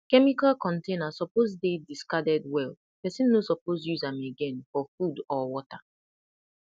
chemical container suppose dey discarded well person no suppose use am again for food or water